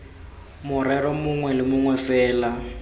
morero mongwe le mongwe fela